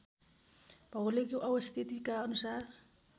भौगोलिक अवस्थितिका अनुसार